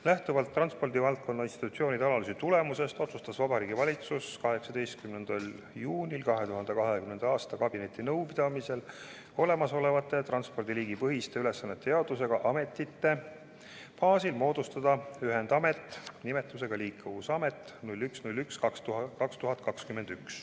Lähtuvalt transpordivaldkonna institutsioonide analüüsi tulemusest, otsustas Vabariigi Valitsus 18. juunil 2020. aastal kabinetinõupidamisel olemasolevate transpordiliigipõhiste ülesannete jaotusega ametite baasil moodustada 1. jaanuariks 2021 ühendamet nimetusega Liikuvusamet.